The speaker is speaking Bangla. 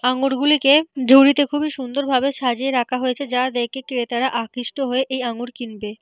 আঙুর গুলিকে ঝুড়িতে খুব সুন্দর ভাবে সাজিয়ে রাখা হয়েছে যা দেখে ক্রেতারা আকৃষ্ট হয়ে এই আঙ্গুর কিনবেন।